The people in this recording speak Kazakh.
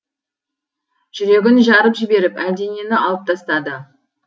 жүрегін жарып жіберіп әлденені алып тастады